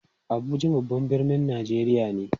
Abuja babban birnin Najeriya ne.